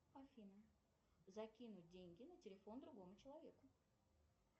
афина закинуть деньги на телефон другому человеку